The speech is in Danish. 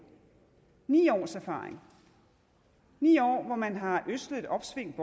ni års erfaring ni år hvor man har ødslet et opsving